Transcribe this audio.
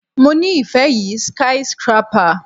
Mo ni ife yi skyscrapper